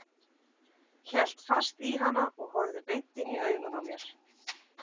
Hélt fast í hana og horfði beint inn í augun á mér.